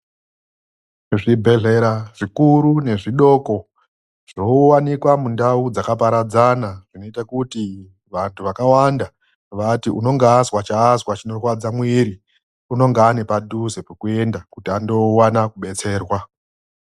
Zvibhehlera zvikuru nezvidoko zvinowanikwa mundau dzakaparadzana zvinoita kuti vantu vakawanda vati unonga azwa chaazwa chinorwadza mwiri unonga ane padhuze pokuenda kuti andowana kudetserwa.